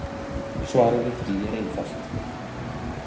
Svarið við því er einfalt.